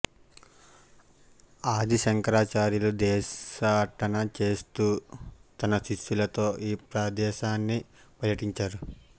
ఆది శంకరాచార్యులు దేశాటన చేస్తూ తన శిష్యులతో ఈ ప్రదేశాన్ని పర్యటించారు